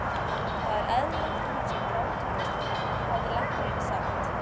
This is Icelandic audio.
Það er eðlilegt að hún sé grátgjörn, hafði læknirinn sagt.